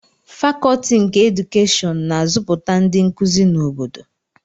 Fakọọti nke Edukeshịon na-azụpụta ndị nkuzi na obodo